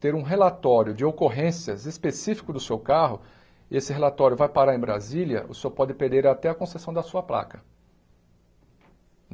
ter um relatório de ocorrências específico do seu carro, esse relatório vai parar em Brasília, o senhor pode perder até a concessão da sua placa.